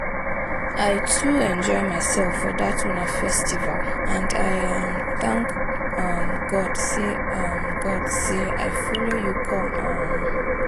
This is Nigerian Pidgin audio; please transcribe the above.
I too enjoy myself for dat una festival and I um thank um God say um God say I follow you come um